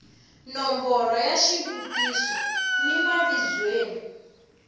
nomboro ya xivutiso ni mavizweni